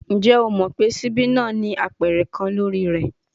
Njẹ o mọ pe sibi naa ni apẹrẹ kan lori rẹ?